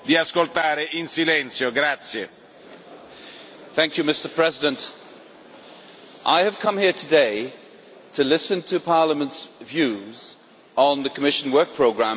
Mr President, I have come here today to listen to Parliament's views on the Commission Work Programme for next year.